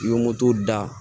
I ye moto da